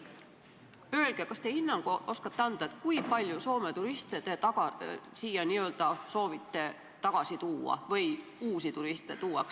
Öelge, kas te oskate anda hinnangu, kui palju Soome turiste te siia n-ö soovite tagasi tuua või uusi turiste meile meelitada?